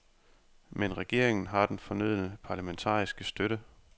Men regeringen har den fornødne parlamentariske støtte.